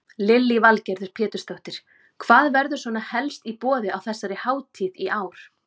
Lillý Valgerður Pétursdóttir: Hvað verður svona helst í boði á þessari hátíð í ár?